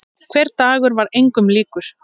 Hver dagur var engum líkur.